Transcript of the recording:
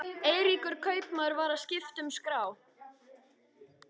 Eiríkur kaupmaður var að skipta um skrá.